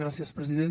gràcies president